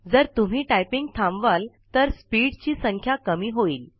जर तुम्ही टाईपिंग थांबवलं तर स्पीड ची संख्या कमी होईल